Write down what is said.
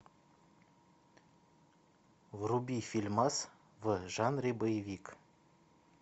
вруби фильмас в жанре боевик